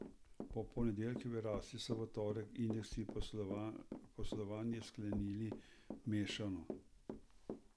Po ponedeljkovi rasti so v torek indeksi poslovanje sklenili mešano.